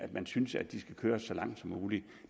man synes at de skal køres så langt som muligt